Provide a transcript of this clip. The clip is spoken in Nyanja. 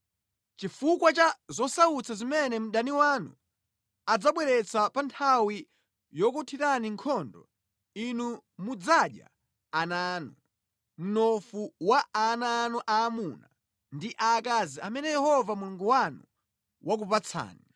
Chifukwa cha zosautsa zimene mdani wanu adzabweretsa pa nthawi yokuthirani nkhondo, inu mudzadya ana anu, mnofu wa ana anu aamuna ndi aakazi amene Yehova Mulungu wanu wakupatsani.